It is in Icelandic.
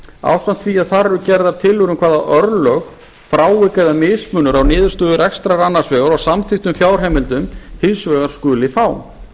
ásamt því að þar eru gerðar tillögur um hvaða örlög frávik eða mismunur á niðurstöðu rekstrar annars vegar og samþykktum fjárheimildum hins vegar skuli fá